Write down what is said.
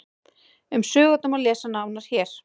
Um sögurnar má lesa nánar hér.